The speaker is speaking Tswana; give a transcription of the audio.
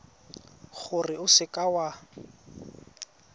gore o seka w a